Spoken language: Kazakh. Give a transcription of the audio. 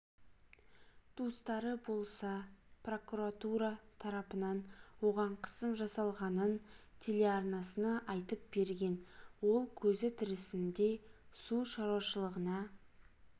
туыстары болса прокуратура тарапынан оған қысым жасалғанын телеарнасына айтып берген ол көзі тірісінде су шаруашылығына